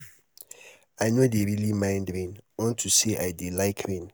um i no dey really mind rain unto say i dey like rain.